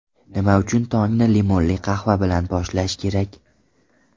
Nima uchun tongni limonli qahva bilan boshlash kerak?.